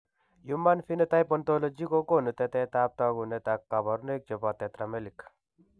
Human Phenotype Ontology kogonu tetet ab takunet ak kabarunaik chebo Tetramelic